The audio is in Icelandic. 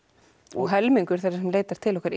og helmingur þeirra sem leita til okkar